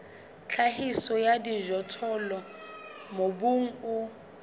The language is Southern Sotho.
tlhahiso ya dijothollo mobung o